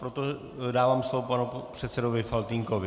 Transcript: Proto dávám slovo panu předsedovi Faltýnkovi.